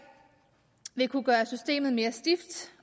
vil kunne gøre systemet mere stift